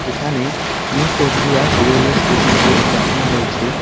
এখানে new Coochbehar railway station -কে দেখানো হয়েছে।